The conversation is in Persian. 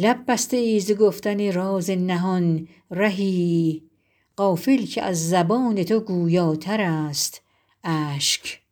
لب بسته ای ز گفتن راز نهان رهی غافل که از زبان تو گویاتر است اشک